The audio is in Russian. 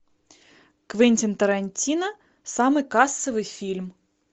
квентин тарантино самый кассовый фильм